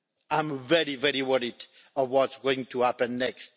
I'm very, very worried of what's going to happen next.